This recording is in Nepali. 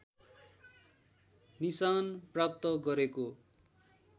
निशान प्राप्त गरेको